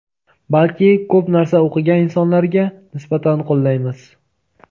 balki ko‘p narsa o‘qigan insonlarga nisbatan qo‘llaymiz.